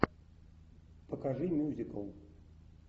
покажи мюзикл